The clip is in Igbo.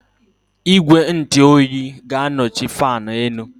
Igwe ntụ oyi ga-anọchi fáan élú